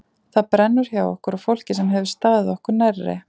Það brennur hjá okkur og fólki sem hefur staðið okkur nærri.